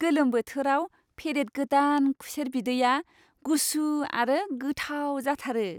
गोलोम बोथोराव फेरेद गोदान खुसेर बिदैया गुसु आरो गोथाव जाथारो।